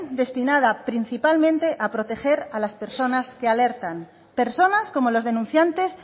destinada principalmente a proteger a las personas que alertan personas como los denunciantes